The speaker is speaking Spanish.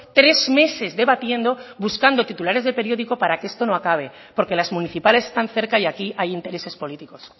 tres meses debatiendo buscando titulares de periódico para que esto no acabe porque las municipales están cerca y aquí hay intereses políticos